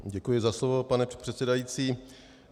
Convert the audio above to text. Děkuji za slovo, pane předsedající.